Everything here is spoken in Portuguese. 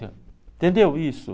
Entendeu isso?